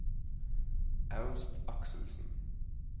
Ernst Akselsen